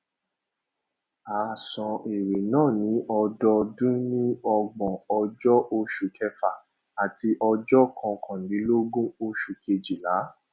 a san èrè náà ní ọdọọdún ní ọgbòn ọjó oṣù kẹfà àti ọjó kọkànlélógbòn oṣù kejìlá